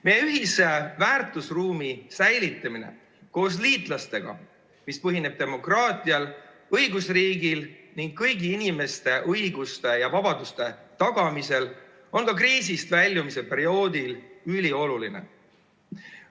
Säilitada meie ja liitlaste ühist väärtusruumi, mis põhineb demokraatial, õigusriigil ning kõigi inimeste õiguste ja vabaduste tagamisel, on ka kriisist väljumise perioodil ülioluline.